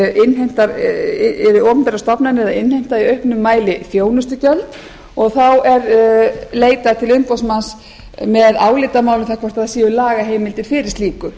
að nú eru opinberar stofnanir að innheimta í auknum mæli þjónustugjöld og þá er leitað til umboðsmanns með álitamál um hvort það séu lagaheimildir fyrir slíku